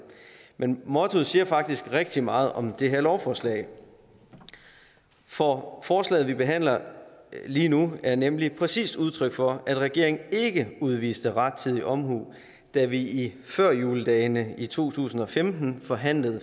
men mottoet siger faktisk rigtig meget om det her lovforslag for forslaget vi behandler lige nu er nemlig præcis udtryk for at regeringen ikke udviste rettidig omhu da vi i førjuledagene i to tusind og femten forhandlede